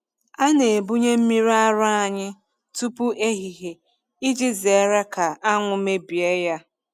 A na-ebunye mmiri ara anyị tupu ehihie iji zere ka anwụ mebie ya.